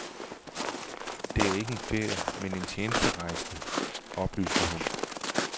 Det er ikke en ferie, men en tjenesterejse, oplyste hun.